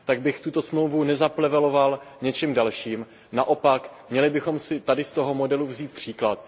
Tak bych tuto smlouvu nezapleveloval něčím dalším, naopak měli bychom si tady z toho modelu vzít příklad.